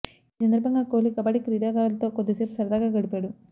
ఈ సందర్భంగా కోహ్లి కబడ్డీ క్రీడాకారులతో కొద్ది సేపు సరదాగా గడిపాడు